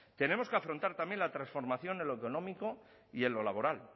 tenemos que afrontar también la transformación en lo económico y en lo laboral